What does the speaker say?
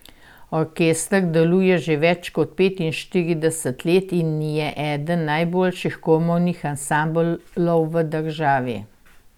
Orkester deluje že več kot petinštirideset let in je eden najboljših komornih ansamblov v državi.